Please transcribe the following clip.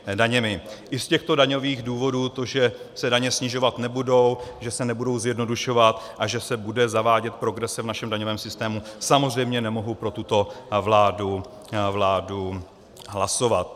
I z těchto daňových důvodů, to, že se daně snižovat nebudou, že se nebudou zjednodušovat a že se nebude zavádět progrese v našem daňovém systému, samozřejmě nemohu pro tuto vládu hlasovat.